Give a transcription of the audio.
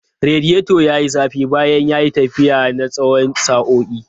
Radiator ya yi zafi bayan ya yi tafiya na tsawon sa'o'i.